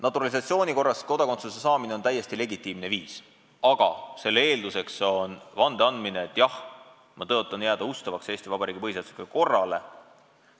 Naturalisatsiooni korras kodakondsuse saamine on täiesti legitiimne viis, aga selle eelduseks on vande andmine, et jah, ma tõotan jääda ustavaks Eesti Vabariigi põhiseaduslikule korrale.